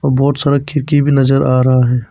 बहुत सारा खिड़की भी नजर आ रहा है।